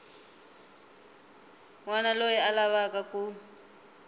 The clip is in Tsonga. wana loyi a lavaka ku